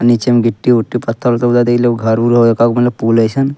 नीचे म गिटी-ऊटी पत्थल - उत्थल ऊधर देखि लो घर-उर हो एकागो बनलो पूल एसन।